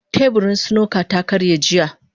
Teburin snooker ta karye jiya.